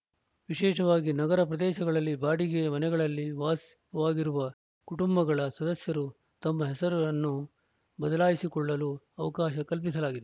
ವಿಶೇಷವಾಗಿ ನಗರ ಪ್ರದೇಶಗಳಲ್ಲಿ ಬಾಡಿಗೆ ಮನೆಗಳಲ್ಲಿ ವಾಸವಾಗಿರುವ ಕುಟುಂಬಗಳ ಸದಸ್ಯರು ತಮ್ಮ ಹೆಸರನ್ನು ಬದಲಾಯಿಸಿಕೊಳ್ಳಲು ಅವಕಾಶ ಕಲ್ಪಿಸಲಾಗಿದೆ